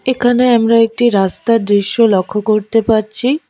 এখানে আমরা একটি রাস্তার দৃশ্য লক্ষ্য করতে পারছি।